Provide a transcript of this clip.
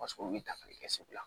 Paseke olu bɛ dankari kɛ segu la